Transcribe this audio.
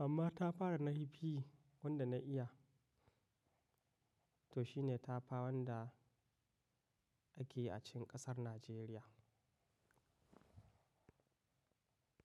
amma tafa da na hibi wanda na iya to shine tafa wanda ake a cikin ƙasar Najeriya.